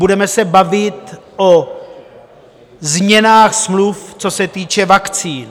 Budeme se bavit o změnách smluv, co se týče vakcín.